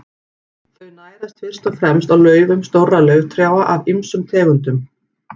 Þau nærast fyrst og fremst á laufum stórra lauftrjáa af ýmsum tegundum.